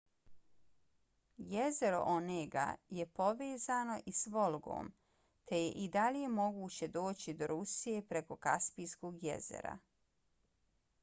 jezero onega je povezano i s volgom te je i dalje moguće doći do rusije preko kaspijskog jezera